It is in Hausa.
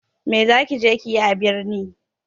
Me za ki je yi a birni?